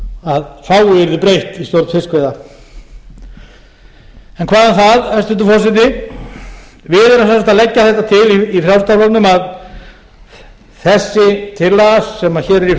að fáu yrði breytt í stjórn fiskveiða en hvað um það hæstvirtur forseti við erum sem sagt að leggja þetta til í frjálslynda flokknum að þessi tillaga sem hér er